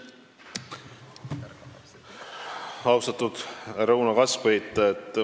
Austatud härra Uno Kaskpeit!